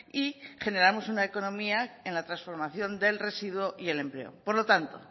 y generamos una economía en la transformación del residuo y el empleo por lo tanto